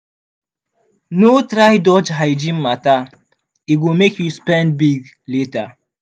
no try dodge hygiene matter e go make you spend big later.